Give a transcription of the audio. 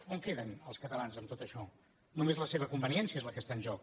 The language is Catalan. on queden els catalans amb tot això només la seva conveniència és la que està en joc